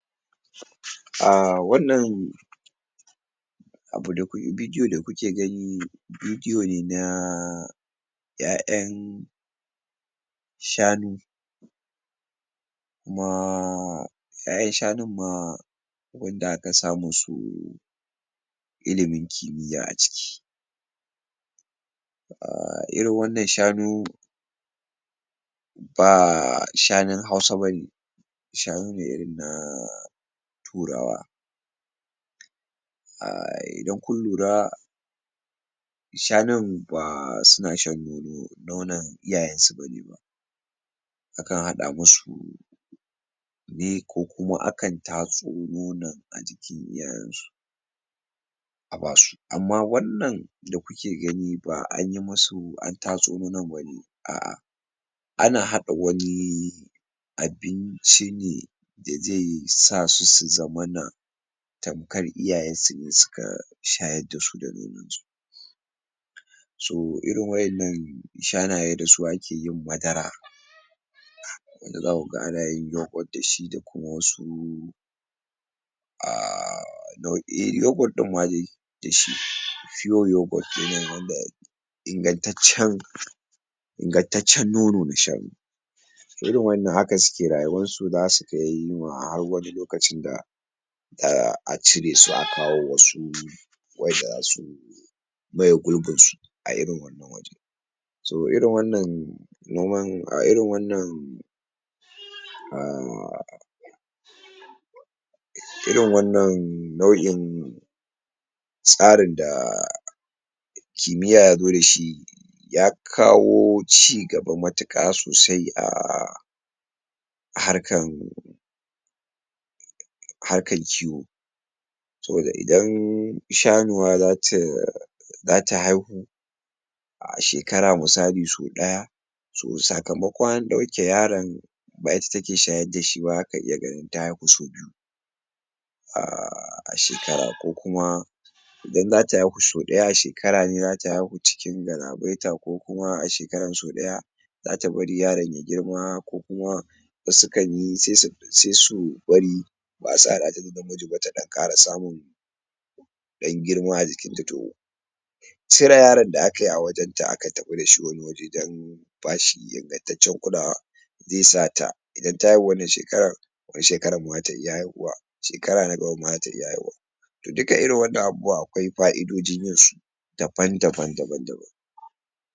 um wannan abu da bidiyo da kuke gani bidiyone na ƴaƴan shanu kuma ƴaƴan shanun ma wanda aka samusu ilimin kimiyya aciki um irin wannan shanu ba shanun hausa bane shanune irin na turawa um idan kun lura shanun ba suna shan nono nonon iyayensu bane akan hada musu ne kokuma akan tatso nonon daga jikin iyayensu abasu amma wannan da kuke gani ba'anyi musu antatso nonon bane a'a ana hada wani abin cine dazai sasusu zamana tamkar iyayensune suka shayar dasu da nonon su so irin wa'ennan shanaye dasu akeyin madara inda zakuga anayin yoghurt dashi dakuma wasu um nau'i yoghurt din madai dashi fiyo yoghurt kenan wanda ingantaccen ingantaccen nono na shanu to irin wannan haka suke rayuwansu zasukai harwani lokacinda um aciresu akawo wasu waƴanda zasu maye gurbin su a'irin wannan wajan so irin wannan noman a irin wannan um irin wannan nau'in tsarin da kimiyya yazo dashi yakawo cigaba matuƙa sosai um a harkan harkan kiwo saboda idan shanuwa zata zata haihu a shekara misali so ɗaya to sakamakon andauke yaron ba ita take shayar dashiba zaka iya ganin ta haifi sau biyu um a shekara kokuma idan zata haihu so daya a shekarane zata haihu cikin gala baita kokuma a shekaran sau ɗaya zata bari yaron ya girma kokuma wasu sukanyi se su bari ba'a sadata da namiji ba ta ɗan Ƙara samun ɗan girma ajikinta to cire yaron da akayi a wajenta aka tafi dashi wani waje dan bashi ingantaccen kulawa zesata idan ta haihu wannan shekarar to shakaran ma zata iya haihuwa shekara na gabanma zata iya haihuwa to duka irin wannan abubuwani akwai fa'idojin yinsu daban daban daban daban